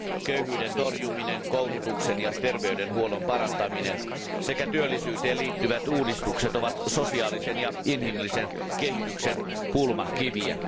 Köyhyyden torjuminen, koulutuksen ja terveydenhuollon parantaminen sekä työllisyyteen liittyvät uudistukset ovat sosiaalisen ja inhimillisen kehityksen kulmakiviä.